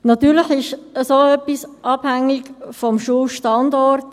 Natürlich ist so etwas abhängig vom Schulstandort.